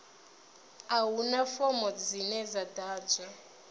a huna fomo dzine dza ḓadzwa